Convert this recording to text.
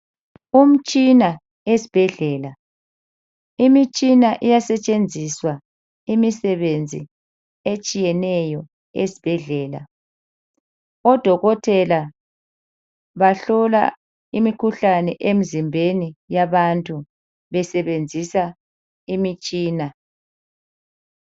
Umtshina esibhedlela, imitshina iyasetshenziswa imisebenzi etshiyeneyo esibhedlela. Odokotela bahlola imikhuhlane emzimbeni yabantu besebenzisa imtshina.